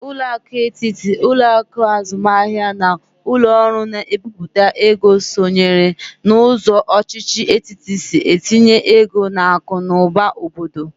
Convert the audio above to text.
Ụlọakụ etiti, ụlọakụ azụmahia na ụlọ ọrụ na-ebiputa ego sonyere na ụzọ ọchịchị etiti si etinye ego n'akụ na ụba obodo.